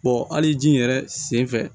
hali ji yɛrɛ sen fɛ